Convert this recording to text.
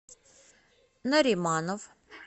нариманов